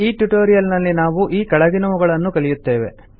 ಈ ಟ್ಯುಟೋರಿಯಲ್ ನಲ್ಲಿ ನಾವು ಈ ಕೆಳಗಿನವುಗಳನ್ನು ಕಲಿಯುತ್ತೇವೆ